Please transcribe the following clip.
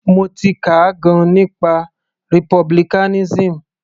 Mo ti kà gan - an nípa republicanism.